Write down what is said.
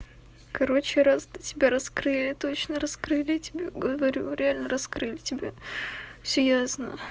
короче раз тебя раскрыли точно раскрыли тебе говорю реально раскрыли тебя всё ясно